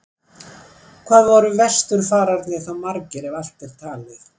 Hvað voru vesturfararnir þá margir, ef allt er talið?